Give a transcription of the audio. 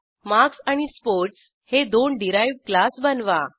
marks आणि sports हे दोन डिराइव्ह्ड क्लास बनवा